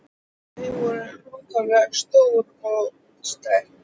En þau voru ákaflega stór og útstæð.